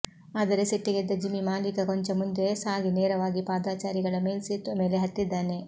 ಆದರೆ ಸಿಟ್ಟಿಗೆದ್ದ ಜಿಮ್ಮಿ ಮಾಲೀಕ ಕೊಂಚ ಮುಂದೆ ಸಾಗಿ ನೇರವಾಗಿ ಪಾದಾಚಾರಿಗಳ ಮೇಲ್ಸೇತುವೆ ಮೇಲೆ ಹತ್ತಿಸಿದ್ದಾನೆ